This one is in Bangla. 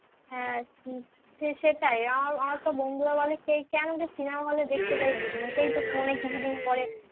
হ্যাঁ সেটাই আমার আমার তো বন্ধুরা বলে কে কেন যে cinema hall এ দেখতে যাই বুঝি না সেই তো phone এ কিছুদিন পরে